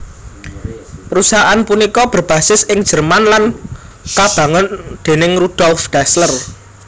Perusahaan punika berbasis ing Jerman lan kabangun déning Rudolf Dassler